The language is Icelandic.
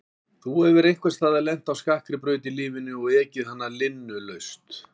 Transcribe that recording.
Þú hefur einhvers staðar lent á skakkri braut í lífinu og ekið hana linnulaust.